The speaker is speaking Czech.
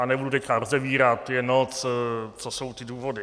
A nebudu teď rozebírat, je noc, co jsou ty důvody.